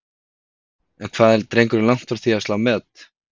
En hvað er drengurinn langt frá því að slá met?